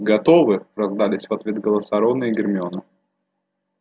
готовы раздались в ответ голоса рона и гермионы